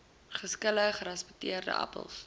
geskilde gerasperde appels